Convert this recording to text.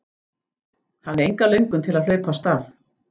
Hafði enga löngun til að hlaupa af stað.